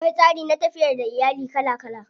Akwai tsari na tafiyar da iyali kala kala.